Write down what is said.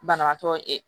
Banabaatɔ